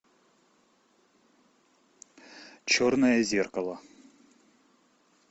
черное зеркало